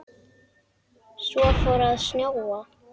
Svo fór að snjóa.